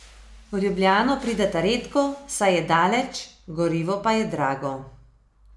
V Ljubljano prideta redko, saj je daleč, gorivo pa je drago.